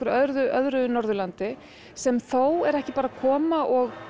öðru Norðurlandi sem þó er ekki bara að koma og